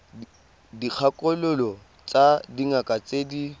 dikgakololo tsa dingaka tse di